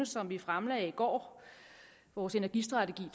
som vi fremlagde i går vores energistrategi